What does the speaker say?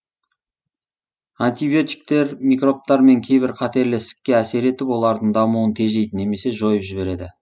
антибиотиктер микробтар мен кейбір қатерлі ісікке әсер етіп олардың дамуын тежейді немесе жойып жібереді